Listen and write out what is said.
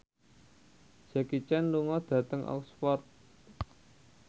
Jackie Chan lunga dhateng Oxford